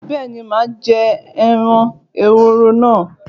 Bẹ́ẹ̀ni màá jẹ ẹran ehoro náà